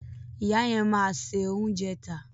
Ìyá yẹn máa se oúnjẹ tà.